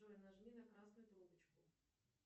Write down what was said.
джой нажми на красную трубочку